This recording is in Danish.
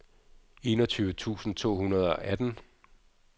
enogtyve tusind to hundrede og atten